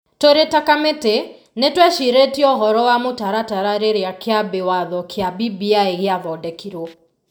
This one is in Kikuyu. Tũrĩ ta kamĩtĩ, nĩ twecirĩtie ũhoro wa mũtaratara rĩrĩa kĩambi watho kĩa BBI gĩa thondekirwo.